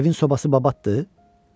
Evin sobası babatdır?